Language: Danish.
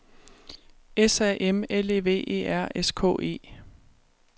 S A M L E V E R S K E